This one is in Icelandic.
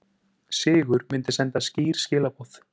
Sigur myndi senda skýr skilaboð